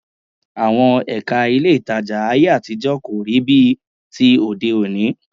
Àwọn Ẹ̀ka ilé ìtajà ayé àtijọ́ kò rí bíi ti òde òní